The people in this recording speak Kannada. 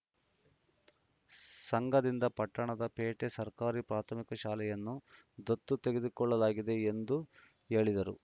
ಸಂಘದಿಂದ ಪಟ್ಟಣದ ಪೇಟೆ ಸರ್ಕಾರಿ ಪ್ರಾಥಮಿಕ ಶಾಲೆಯನ್ನು ದತ್ತು ತೆಗೆದುಕೊಳ್ಳಲಾಗಿದೆ ಎಂದು ಹೇಳಿದರು